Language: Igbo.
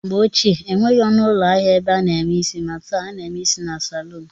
Mgbe ochie enweghị ọnụụlọ ahịa ebe a na-eme isi maa taa, a na-eme isi na salun